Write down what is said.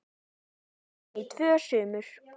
frænku sinni í tvö sumur.